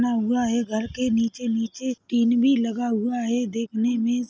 -- ना हुआ है घर के नीचे-नीचे टीन भी लगा हुआ है देखने मे --